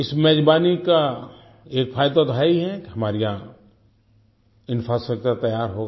इस मेज़बानी का एक फ़ायदा तो है ही है कि हमारे यहाँ इंफ्रास्ट्रक्चर तैयार होगा